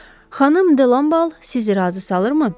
Xanım De La siz razı salırmı?